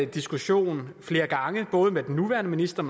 diskussion flere gange både med den nuværende minister